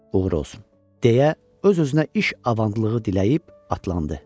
Uğur olsun deyə, öz-özünə iş avandlığı diləyib atlandı.